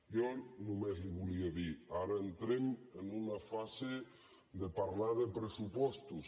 jo només li volia dir ara entrem en una fase de parlar de pressupostos